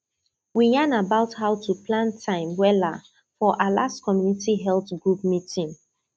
we yan about how to plan time wella for our last community health group meeting